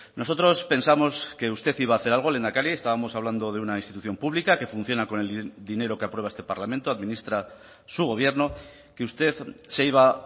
nosotros pensamos que usted iba a hacer algo lehendakari estábamos hablando de una institución pública que funciona con el dinero que aprueba este parlamento administra su gobierno que usted se iba